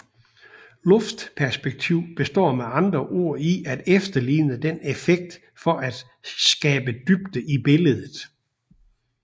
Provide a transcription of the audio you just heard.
Luftperspektiv består med andre ord i at efterligne denne effekt for at skabe dybde i billedet